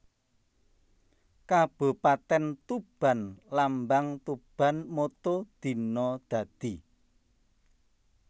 Kabupatèn TubanLambang TubanMotto Dina Dadi